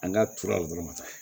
An ka turu dɔrɔn ma taga